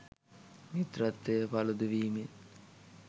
මිත්‍රත්වය පළුදු වීමෙන්